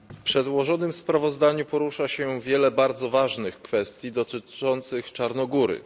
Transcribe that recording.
W przedłożonym sprawozdaniu porusza się wiele bardzo ważnych kwestii dotyczących Czarnogóry.